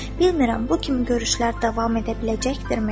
Bilmirəm bu kimi görüşlər davam edə biləcəkdirmi?